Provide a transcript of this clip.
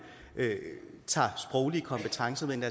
tager sproglige kompetencer med ind